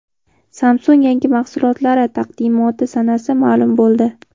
Samsung yangi mahsulotlari taqdimoti sanasi ma’lum bo‘ldi.